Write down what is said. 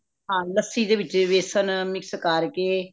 ਹਾਂ ਲੱਸੀ ਦੇ ਵਿਚ ਬੇਸਨ mix ਕਰਕੇ